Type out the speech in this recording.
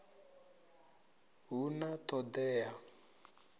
hu na t hod ea